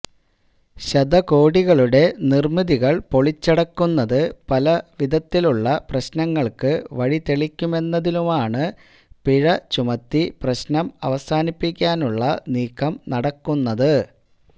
ശതകോടികളുടെ നിര്മിതികള് പൊളിച്ചടുക്കുന്നത് പല വിധത്തിലുള്ള പ്രശ്നങ്ങള്ക്കു വഴിതെളിക്കുമെന്നതിനാലാണ് പിഴ ചുമത്തി പ്രശ്നം അവസാനിപ്പിക്കാനുള്ള നീക്കം നടക്കുന്നത്